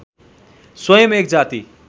स्वयम् एक जाति